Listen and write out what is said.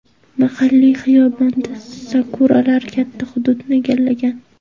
Mahalliy xiyobonda sakuralar katta hududni egallagan.